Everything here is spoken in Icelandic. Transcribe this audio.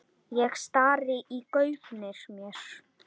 Ég stari í gaupnir mér.